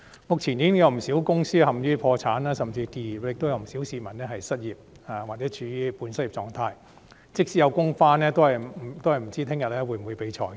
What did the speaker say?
目前，已經有不少公司陷於破產甚至結業，亦有不少市民失業或處於半失業的狀態，即使能上班，也不知道明天會否被裁員。